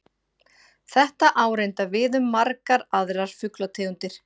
Þetta á reyndar við um margar aðrar fuglategundir.